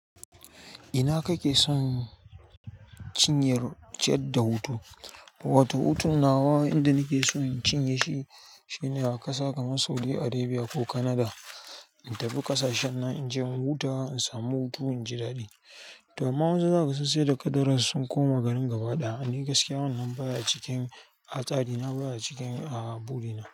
Ina kake son cinye ciyadda da hutu? Wato hutun nawa yanda nake so in cinye shi shine a ƙasa kamar Saudi Arabia ko Canada. Intafi kashashen nan inje in huta in samu hutu in ji daɗi to amma waensu zakaga sun sai da kadarar su sun koma garin gaba ɗaya. Ni gaskiya wannan baya cikin a tsari, na baya cikin a buri na.